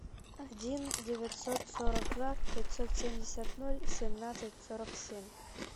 один девятьсот сорок два пятьсот семьдесят ноль семнадцать сорок семь